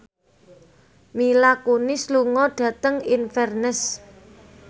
Mila Kunis lunga dhateng Inverness